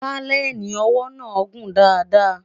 paleni owó nà gùn dá dá